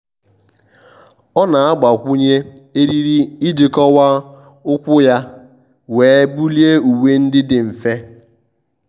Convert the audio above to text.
ọ́ nà-àgbakwụnye eriri iji kọ́wàá úkwù yá wee bulie uwe ndị dị mfe.